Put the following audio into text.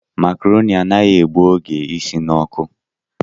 Macaroni anaghị egbu oge isi n'ọkụ